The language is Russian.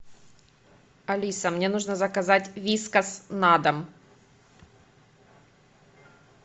алиса мне нужно заказать вискас на дом